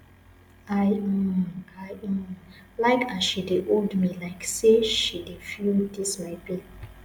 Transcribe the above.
i um i um like as she dey hold me like sey she dey feel dis my pain